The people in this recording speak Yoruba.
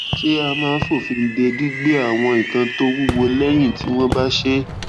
ṣé a máa fòfin de gbígbé àwọn nǹkan tó wúwo léyìn tí wón bá ṣé